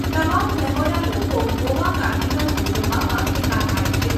તમામ ધર્મોના લોકો ગોવા કાર્નિવલ ઉજવવામાં ભેગાં થાય છે.